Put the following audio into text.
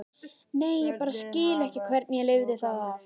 Nei, ég bara skil ekki hvernig ég lifði það af.